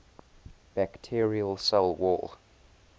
bacterial cell wall